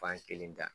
Fan kelen ta